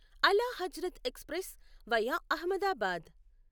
అలా Hazrat express via Ahmedabad